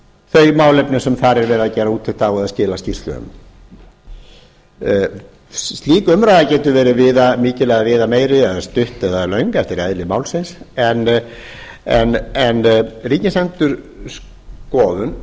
þau málefni sem þar er verið að gera úttekt á eða skýrslu um slík umræða getur verið viðamikil eða viðameiri eða stutt eða löng eftir eðli málsins en ríkisendurskoðun